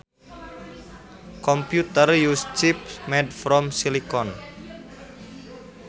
Computers use chips made from silicon